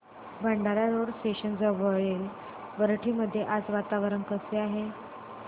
Bhandara road station जवळील वरठी मध्ये आज वातावरण कसे आहे